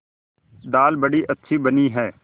दाल बड़ी अच्छी बनी है